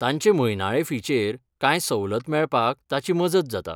तांचे म्हयनाळे फीचेर कांय सवलत मेळपाक ताची मजत जाता.